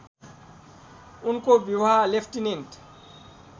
उनको विवाह लेफ्टिनेन्ट